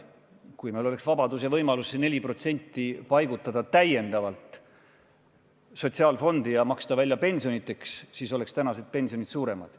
Kui meil oleks vabadus ja võimalus see 4% paigutada täiendavalt sotsiaalfondi ja maksta välja pensioniteks, siis oleks tänased pensionid suuremad.